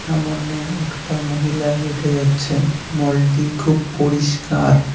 সামনে একটা মহিলা হেঁটে যাচ্ছেন মলটি খুব পরিষ্কার।